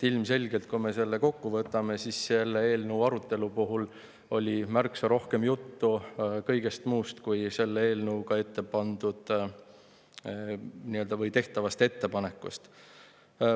Ilmselgelt oli selle eelnõu arutelu puhul märksa rohkem juttu kõigest muust, kui selle eelnõuga tehtavast ettepanekust.